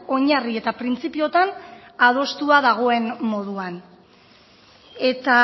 oinarri eta printzipioetan adostua dagoen moduan eta